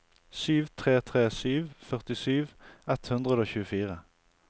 sju tre tre sju førtisju ett hundre og tjuefire